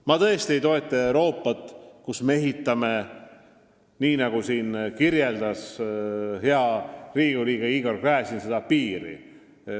Ma tõesti ei toeta Euroopat, mille ümber ehitataks piir, nii nagu siin hea Riigikogu liige Igor Gräzin kirjeldas.